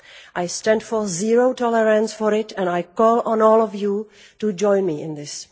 I stand for zero tolerance for it and I call on all of you to join me in this.